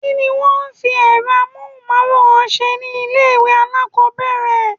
Kí ni wón ń fi èrọ amóhùnmáwòrán ṣe ni ilé ìwé alákòbẹ̀rẹ̀?